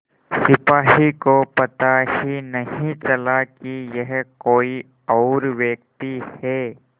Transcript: सिपाही को पता ही नहीं चला कि यह कोई और व्यक्ति है